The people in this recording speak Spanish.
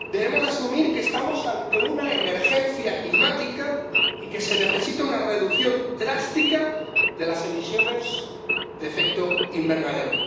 Debemos asumir que estamos ante una emergencia climática y que se necesita una reducción drástica de las emisiones de efecto invernadero.